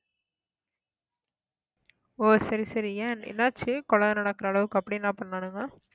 ஓ சரி சரி ஏன் என்னாச்சு கொலை நடக்கிற அளவுக்கு அப்படி என்ன பண்ணானுங்க